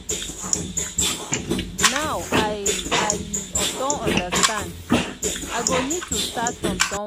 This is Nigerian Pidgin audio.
now i i don understand i go need to start from somewhere.